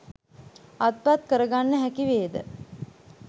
අත්පත් කරගන්න හැකිවේද?